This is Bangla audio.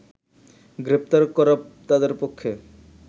গ্রেপ্তার করা তাদের পক্ষে